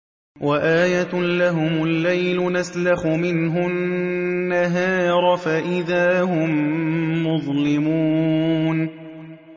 وَآيَةٌ لَّهُمُ اللَّيْلُ نَسْلَخُ مِنْهُ النَّهَارَ فَإِذَا هُم مُّظْلِمُونَ